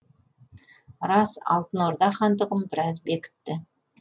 рас алтын орда хандығын біраз бекітті